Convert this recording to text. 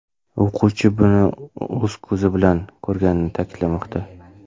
O‘quvchi buni o‘z ko‘zi bilan ko‘rganini ta’kidlamoqda.